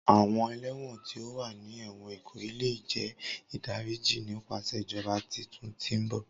Awọn ẹlẹwọn ti o wa ni ẹwọn Ikoyi le jẹ idariji nipasẹ ijọba titun ti mbọ.